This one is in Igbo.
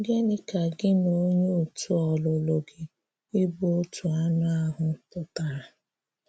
Gịnị́ ka gị na onyé òtù̀ ọlụ̀lụ̀ gị ịbụ ‘otù anụ́ ahụ́’ pụtara?